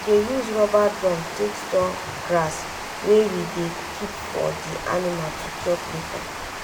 we dey use rubber drum take store grass wey we dey keep for di anima to chop lata.